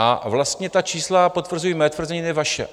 A vlastně ta čísla potvrzují mé tvrzení, ne vaše.